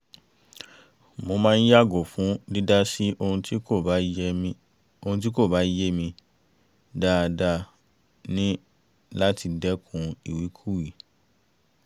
mo máa ń yàgò fún dídá sí ohun tí kò bá yé mi dáadáa ni láti dẹ́kun ìwíkúwìí